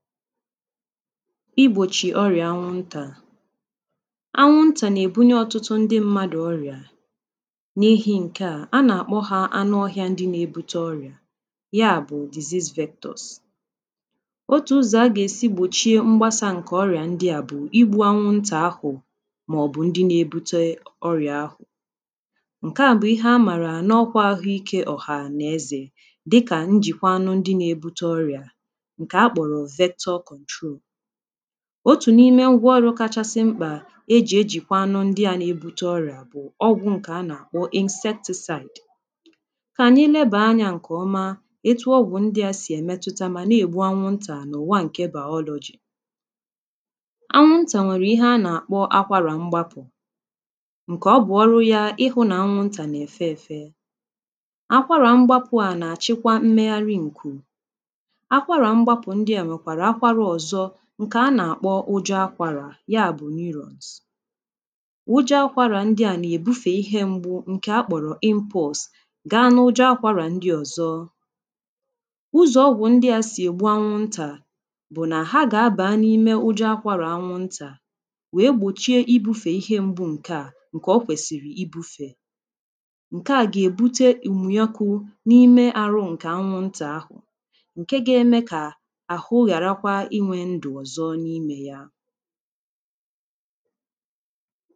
igbochi ọrịa nwuntà anwuntà na-ebunye ọtụtụ ndị mmadụ ọrịà na ehi nke à a na-akpọ ha anụ ọhịà ndị na-ebute ọrịà ya bụ disis vektus otu ụzọ a ga-esi gbochie mgbasa nke ọrịà ndị à bụ̀ igbu anwuntà ahụ maọbụ̀ ndị na-ebute ọrịà ahụ ǹke à bụ̀ ihe a maara nọkwa ahụike ọ̀ha nà-ezè dịkà njikwa anụ ndị na-ebute ọrịà otu̇ niime ngwaọrụ kachasị mkpà e jì ejìkwa anụ ndị à na-ebute ọrịà bụ̀ ọgwụ̀ nke anà akpọ insecticide kà ànyị lebàa anyȧ ǹkè ọma etụ ọgwụ̀ ndị à sì èmetuta mà na-ègbu anwụntà n’ụ̀wa ǹke biotechnology anwụntà nwèrè ihe anà-àkpọ akwarà mgbapụ̀ ǹkè ọbụ̀ ọrụ yȧ ịhụ̇ nà anwụntà nà-èfe èfe akwarà mgbapụ̀ à nà-àchịkwa mmegharị ǹkù ụjọ̇ akwàrà ya bụ̀ ‘neuronns’ ụjọ̇ akwàrà ndị à na-èbufe ihe mgbu ǹkè akpọ̀rọ̀ compose ga n’ụjọ̇ akwàrà ndị ọ̀zọ ụzọ̀ ọgwụ̀ ndị à sì ègbu anwụ ntà bụ̀ nà ha gà-abà n’ime ụjọ̇ akwàrà anwụ ntà wèe gbòchie ibufe ihe mgbu ǹkè à ǹkè o kwèsìrì ibufè ǹkè à gà-èbute ùmùnyòkù n’ime àrụ ǹkè anwụ ntà ahụ̀ ǹdewo nà-àtakwa n’obì ànyị kwụsịrị nà-àkpọ ìnwe ndụ̀ ọzọ n’imė ya